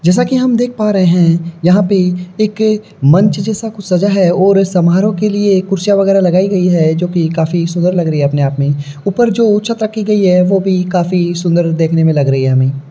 जैसा कि हम देख पा रहे हैं यहां पे एक मंच जैसा कुछ सजा है और समारोह के लिए कुर्सियां वगैरह लगाई गई है जोकि काफी सुंदर लग रही है। अपने आप में ऊपर जो उच्चता की गई है। वह भी काफी सुंदर देखने में लग रही है हमें।